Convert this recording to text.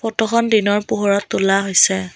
ফটোখন দিনৰ পোহৰত তোলা হৈছে।